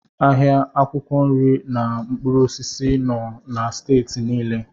Ahịa akwụkwọ nri na mkpụrụ osisi nọ na Steeti niile.